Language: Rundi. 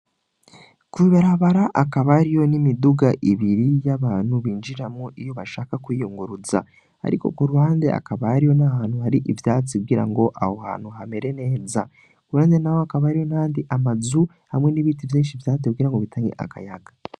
Kw'ibarabara, hakaba hariho n'imiduga ibiri y'abantu binjiramwo iyo bashaka kwiyunguruza. Ariko ku ruhande, hakaba hariho n'ahantu hari ivyatsi kugira ngo aho hantu hamere neza. Iruhande naho hakaba hariho amazu hamwe n'ivyatsi vyinshi vyatewe kugira ngo bitange akayaga.